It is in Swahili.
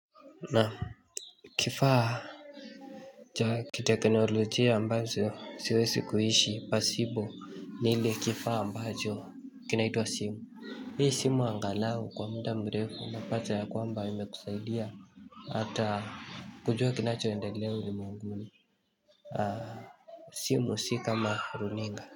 Na kifaa cha kiteknolojia ambazo siwesi kuhishi pasipo ni ile kifaa ambacho kinaitwa simu. Hii simu angalau kwa muda mrefu unapata ya kwamba imekusailia. Ata kujua kinacho endelea ulimwenguni simu si kama runinga.